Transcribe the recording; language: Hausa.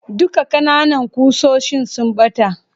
Duka kananan kusoshin sun bata.